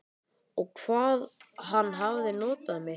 Og hvað hann hafði notað mig.